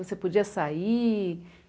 Você podia sair?